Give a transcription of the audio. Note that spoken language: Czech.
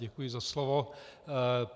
Děkuji za slovo.